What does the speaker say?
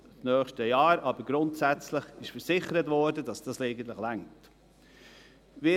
Aber grundsätzlich wurde versichert, dass dies eigentlich reicht.